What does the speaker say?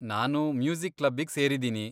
ನಾನು ಮ್ಯೂಸಿಕ್ ಕ್ಲಬ್ಬಿಗ್ ಸೇರಿದೀನಿ.